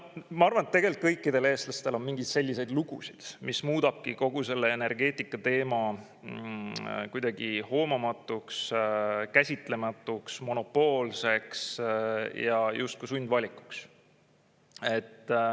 Ma arvan, et kõikidel eestlastel on mingeid selliseid lugusid, mis muudabki kogu selle energeetika teema kuidagi hoomamatuks, käsitlematuks, monopoolseks ja justkui sundvalikuks.